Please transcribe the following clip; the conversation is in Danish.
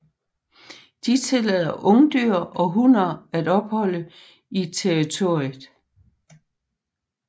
De tillader ungdyr og hunner at opholde i territoriet